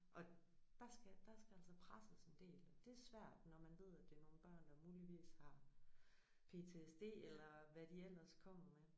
Og der skal der skal der altså presses en del og det svært når man ved at det er nogle børn der muligvis har PTSD eller hvad de ellers kommer med